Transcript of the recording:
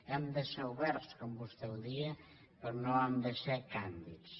hem de ser oberts com vostè deia però no hem de ser càndids